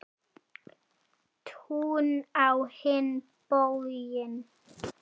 Tún á hinn bóginn.